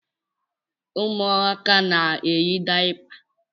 Ụmụaka na-eyi dayapa.